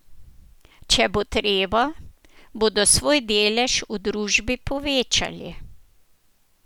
Če bo treba, bodo svoj delež v družbi povečali.